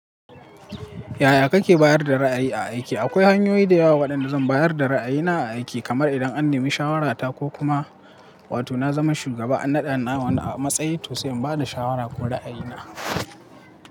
Yaya kake bayar da ra’ayi a aiki? Aƙwai hanyoyi da yawa waɗanda zan bayar da ra’ayina a aiki, kamar idan an nemi shawarata ko kuma, wato na zama shugaba na naɗa a wani a matsayi to sai in ba da shawara ko ra’ayina.